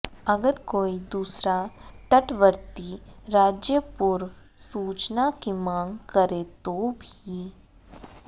अगर कोई दूसरा तटवर्ती राज्य पूर्व सूचना की मांग करे तो भी